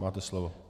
Máte slovo.